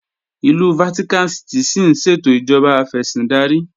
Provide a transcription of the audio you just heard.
Ìlú Vatican City ṣín ṣètò ìjọba afẹ̀sìndarí